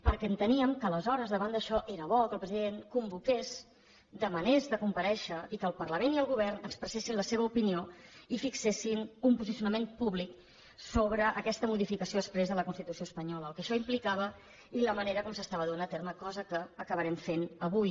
perquè enteníem que aleshores davant d’això era bo que el president convoqués demanés de comparèixer i que el parlament i el govern expressessin la seva opinió i fixessin un posicionament públic sobre aquesta modificació exprés de la constitució espanyola el que això implicava i la manera com s’estava duent a terme cosa que acabarem fent avui